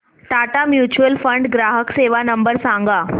Tata mutual fund ग्राहक सेवा number सांगा